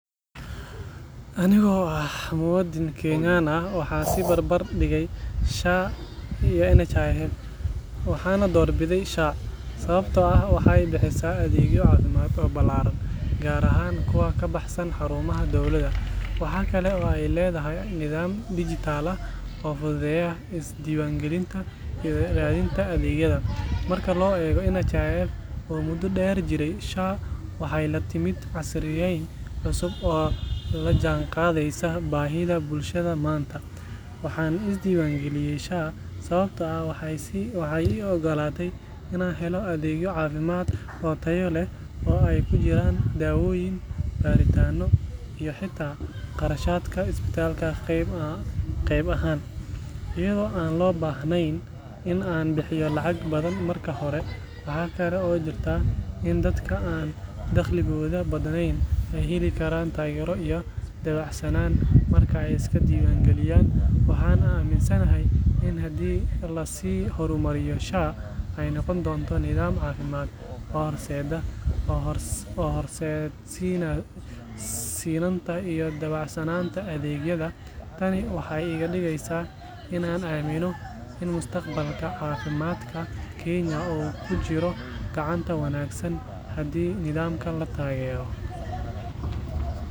Aniga oo ah muwaadin Kenyan ah, waxaan is barbar dhigay SHA iyo NHIF, waxaana doorbiday SHA sababtoo ah waxay bixisaa adeegyo caafimaad oo ballaaran, gaar ahaan kuwa ka baxsan xarumaha dowladda. Waxaa kale oo ay leedahay nidaam dijitaal ah oo fududeynaya isdiiwaangelinta iyo raadinta adeegyada. Marka loo eego NHIF, oo muddo dheer jiray, SHA waxay la timid casriyeyn cusub oo la jaanqaadaysa baahida bulshada maanta. Waxaan isdiiwaangeliyay SHA sababtoo ah waxay ii oggolaatay inaan helo adeegyo caafimaad oo tayo leh oo ay ku jiraan daawooyin, baaritaanno iyo xitaa kharashaadka isbitaalka qayb ahaan, iyadoo aan loo baahnayn in aan bixiyo lacag badan marka hore. Waxaa kale oo jirta in dadka aan dakhligooda badnayn ay heli karaan taageero iyo dabacsanaan marka ay iska diiwaangelinayaan. Waxaan aaminsanahay in haddii la sii horumariyo, SHA ay noqon doonto nidaam caafimaad oo horseeda sinnaanta iyo dabacsanaanta adeegyada. Tani waxay iga dhigaysaa in aan aamino in mustaqbalka caafimaadka Kenya uu ku jiro gacanta wanaagsan haddii nidaamkan la taageero.